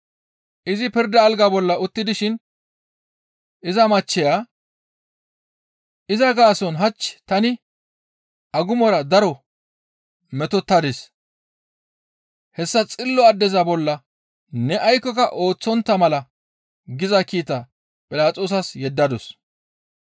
Izi pirda alga bolla utti dishin iza machcheya, «Iza gaason hach tani agumora daro metotadis; hessa xillo addeza bolla ne aykkoka ooththontta mala» giza kiita Philaxoosas yeddadus.